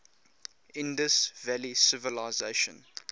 indus valley civilization